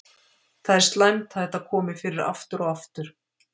Það er slæmt að þetta komi fyrir aftur og aftur.